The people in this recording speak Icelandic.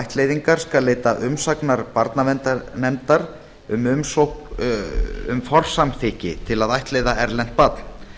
ættleiðingar skal leita umsagnar barnaverndarnefndar um umsókn um forsamþykki til að ættleiða erlent barn